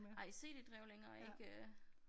Nej cd-drev længere ikke øh